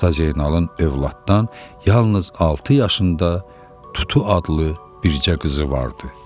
Usta Zeynalın övladdan yalnız altı yaşında Tutu adlı bircə qızı vardı.